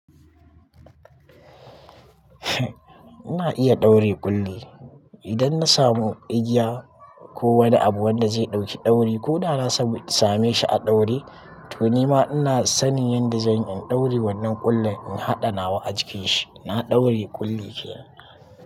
Ina iya ɗaure ƙulli. Idan na samu igiya ko wani abu wanda zai ɗauki ɗauri ko da na samu same shi a ɗaure to ni ma ina sanin yadda zan in ɗaure wannan ƙullin in haɗa nawa a jikin shi. Na ɗaure ƙulli kenan.